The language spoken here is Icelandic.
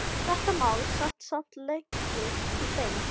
Þetta mál sat samt lengi í þeim.